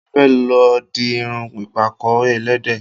Mo fẹ́ lọ di irun ìpàkọ́ ẹlẹ́dẹ̀